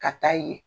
Ka taa yen